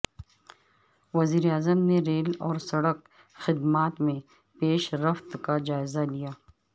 وزیر اعظم نے ریل اور سڑک خدمات میں پیش رفت کاجائزہ لیا